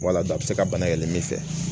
Wala a bɛ se ka bana yɛlɛmɛ